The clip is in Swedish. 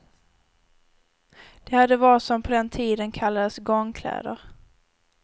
De hade vad som på den tiden kallades gångkläder.